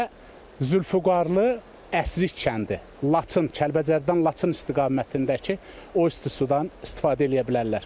Və Zülfüqarlı, Əsrik kəndi, Laçın, Kəlbəcərdən Laçın istiqamətindəki o isti sudan istifadə eləyə bilərlər.